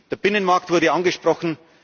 Menschen. Der Binnenmarkt wurde angesprochen.